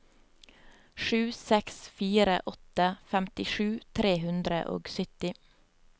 sju seks fire åtte femtisju tre hundre og sytti